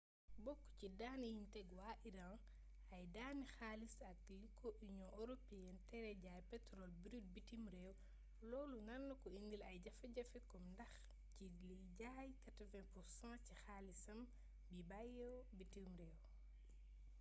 bokk ci daan yiñ teg waa iran ay daani xaalis ak li ko union européenne tere jaay petrole brute bitim réew loolu nar ko indil ay jafe-jafey koom ndax ci lay jëlee 80% ci xaalisam biy bawoo bitim réew